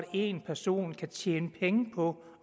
en person kan tjene penge på